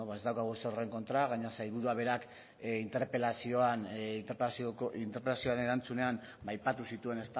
beno ez daukagu ezer horren kontra eta gainera sailburuak berak interpelazioaren erantzunean aipatu zituen